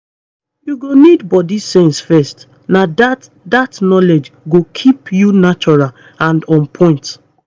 you go need body sense first na that that knowledge go keep you natural and on point